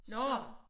Nårh